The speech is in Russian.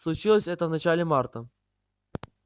случилось это в начале марта